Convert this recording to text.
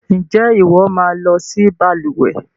Ǹjẹ́ ìwọ máa lọ si balùwẹ́